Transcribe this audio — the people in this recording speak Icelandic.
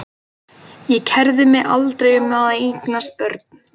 Ég kærði mig aldrei um að eignast börn.